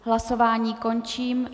Hlasování končím.